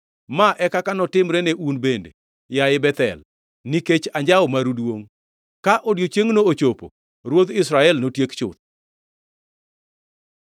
Ma e kaka notimre ne un bende, yaye Bethel, nikech anjawo maru duongʼ. Ka odiechiengno ochopo, ruodh Israel notiek chuth.”